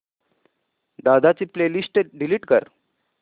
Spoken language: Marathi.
दादा ची प्ले लिस्ट डिलीट कर